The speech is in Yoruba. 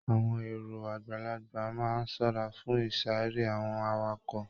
Àwọn èrò àgbàlagbà máa n ṣọra fún isare àwọn awakọ̀.